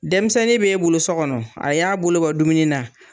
Denmisɛnnin bɛ e bolo sokɔnɔ , a y'a bolo bɔ dumuni na.